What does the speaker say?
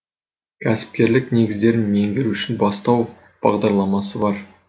кәсіпкерлік негіздерін меңгеру үшін бастау бағдарламасы бар